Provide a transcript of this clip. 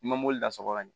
I ma mobili la sɔgɔ ka ɲɛ